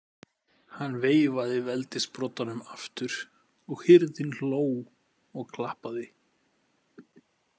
Hann veifaði veldissprotanum aftur og hirðin hló og klappaði.